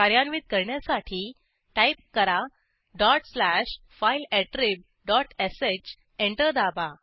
कार्यान्वित करण्यासाठी टाईप करा dot slash file attrib dot sh enter दाबा